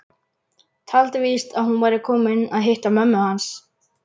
Taldi víst að hún væri komin að hitta mömmu hans.